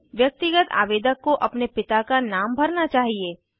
आगे व्यक्तिगत आवेदक को अपने पिता का नाम भरना चाहिए